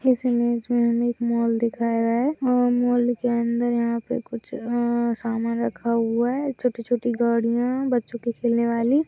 इस इमेज में हमें एक मॉल दिखाया गया है और मॉल के अंदर यहाँ पे कुछ अ समान रखा हुआ है छोटी-छोटी गाड़ियाँ हैं बच्चो के खेलने वाली।